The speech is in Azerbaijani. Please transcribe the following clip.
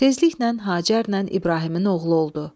Tezliklə Hacərlə İbrahimin oğlu oldu.